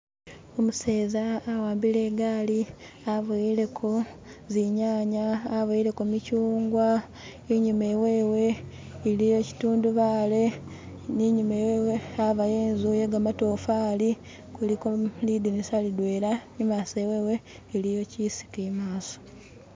Umuseza awambile egali, aboyeleko zinyanya, aboyeleko mikyugwa enyuma ewewe eliyo kitundubaale, ni enyuma ewewe habayo enzu ye gamatofali kuliko lindinisa lidwena emaaso ewewe eliyo kisiki emaaso.